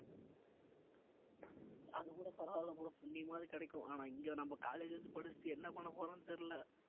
அதுகூட பரவாயில்லை bro புண்ணியமாவது கிடைக்கும் ஆனா இங்க நம்ப college ல வந்து படிச்சுட்டு என்ன பண்ண போறோம்னு தெரியல